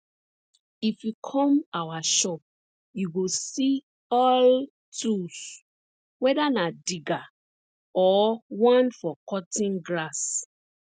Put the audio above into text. if you come our shop you go see all tools whether na digger or one for cutting grass